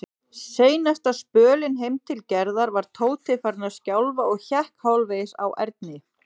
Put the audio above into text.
Seinasta spölinn heim til Gerðar var Tóti farinn að skjálfa og hékk hálfvegis á Erni.